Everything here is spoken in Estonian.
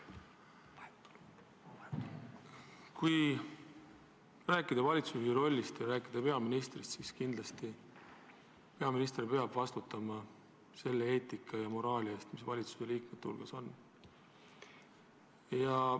Kui rääkida valitsusjuhi rollist, siis kindlasti peaminister peab vastutama selle eetika ja moraali eest, mis valitsusliikmete hulgas au sees on.